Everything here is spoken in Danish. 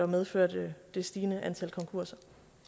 medført det stigende antal konkurser